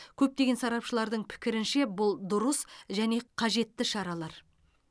көптеген сарапшылардың пікірінше бұл дұрыс және қажетті шаралар